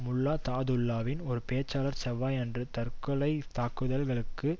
முல்லா தாதுஉல்லாவின் ஒரு பேச்சாளர் செவ்வாயன்று தற்கொலை தாக்குதல் களுக்கு